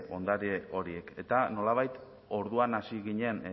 ondare horiek eta nolabait orduan hasi ginen